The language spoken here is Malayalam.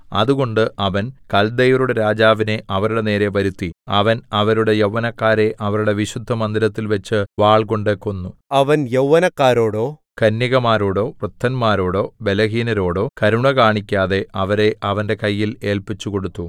അതുകൊണ്ട് അവൻ കൽദയരുടെ രാജാവിനെ അവരുടെ നേരെ വരുത്തി അവൻ അവരുടെ യൗവനക്കാരെ അവരുടെ വിശുദ്ധമന്ദിരത്തിൽ വച്ച് വാൾകൊണ്ട് കൊന്നു അവൻ യൗവനക്കാരോടോ കന്യകമാരോടോ വൃദ്ധരോടോ ബലഹീനരോടോ കരുണ കാണിക്കാതെ അവരെ അവന്റെ കയ്യിൽ ഏല്പിച്ചുകൊടുത്തു